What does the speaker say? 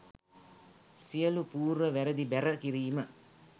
සියලු පූර්ව වැරදි බැර කිරීම